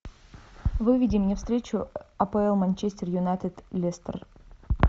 выведи мне встречу апл манчестер юнайтед лестер